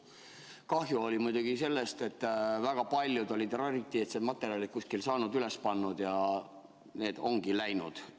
Kahju oli muidugi sellest, et väga paljud olid kuskilt saanud rariteetset materjali, selle üles pannud ja see ongi nüüd läinud.